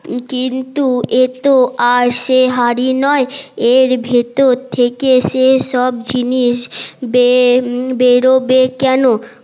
কিন্তু এ তো আর সে হাড়ি নয় এর ভেতর থেকে সে সন জিনিস বেরহবে কেন